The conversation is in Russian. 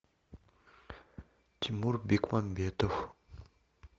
тимур бекмамбетов